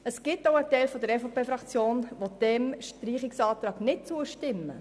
Ein anderer Teil der EVP-Fraktion stimmt diesem Streichungsantrag nämlich nicht zu.